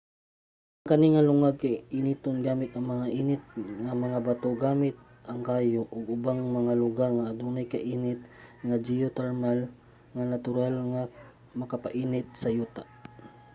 ang kani nga lungag kay initon gamit ang mga init nga mga bato gamit ang kayo o sa ubang mga lugar nga adunay kainit nga geothermal nga natural nga makapainit sa yuta